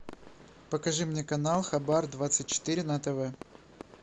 покажи мне канал хабар двадцать четыре на тв